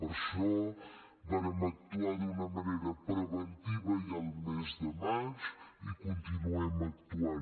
per això vàrem actuar d’una manera preventiva ja al mes de maig i hi continuem actuant